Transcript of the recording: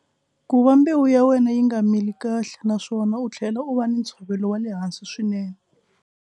Ku va mbewu ya wena yi nga mili kahle naswona u tlhela u va na ntshovelo wa le hansi swinene.